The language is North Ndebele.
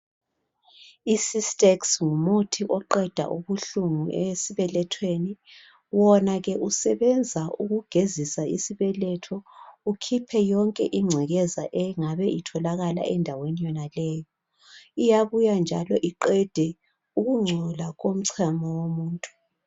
I cystex ngumuthi oqeda ubuhlungu esibelethweni , wona ke usebenza ukugezisa isibeletho ukhiphe yonke ingcekeza bengabe itholakala endaweni yonaleyo , uyabuya njalo iqede ukungcola komchemo womuntu